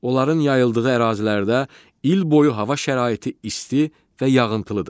Onların yayıldığı ərazilərdə il boyu hava şəraiti isti və yağıntılıdır.